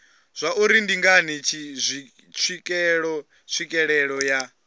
zwauri ndi ngani tswikelelo ya